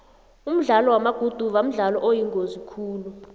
umdlalo wamaguduva mdlalo oyingozi khulu